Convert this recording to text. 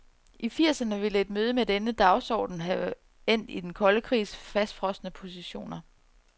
I firserne ville et møde med denne dagsorden været endt i den kolde krigs fastfrosne positioner.